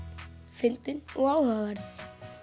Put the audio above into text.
fyndin og áhugaverð